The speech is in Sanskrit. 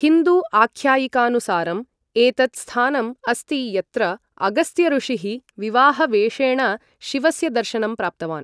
हिन्दू आख्यायिकानुसारं एतत् स्थानम् अस्ति यत्र अगस्त्यऋषिः विवाहवेषेण शिवस्य दर्शनं प्राप्तवान् ।